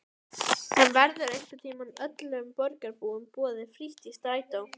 En verður einhvern tímann öllum borgarbúum boðið frítt í strætó?